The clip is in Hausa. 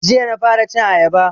Jiya na fara cin ayaba